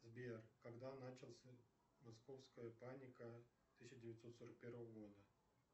сбер когда начался московская паника тысяча девятьсот сорок первого года